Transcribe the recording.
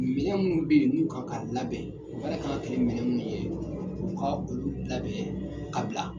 Minɛn minnu bɛ yen n'u kan ka labɛn baara kan ka kɛ ni minɛn minnu ye u ka olu labɛn kabila.